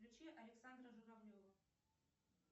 включи александра журавлева